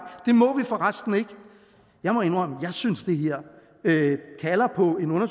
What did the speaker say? det må for resten ikke jeg må indrømme jeg synes det her kalder på en